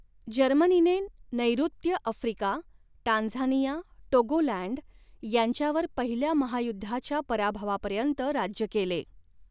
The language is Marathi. जर्मनीने नैॠत्य अफ्रिका टांझानिया टोगोलँड यांच्यावर पहिल्या महायुद्धाच्या पराभवापर्यंत राज्य केले.